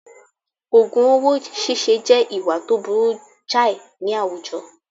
Ògùn owó síse jẹ́ ìwà tó burú jàì ní àwùjọ